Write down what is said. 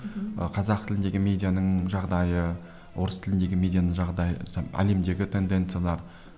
ы қазақ тіліндегі медианың жағдайы орыс тіліндегі медианың жағдайы әлемдегі тенденциялар